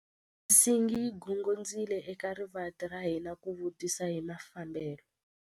Nsingi yi gongondzile eka rivanti ra hina ku vutisa hi mafambelo.